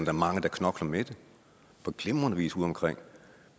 er mange der knokler med det på glimrende vis udeomkring